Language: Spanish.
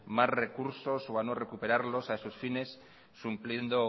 más recursos o a no recuperarlos a esos fines supliendo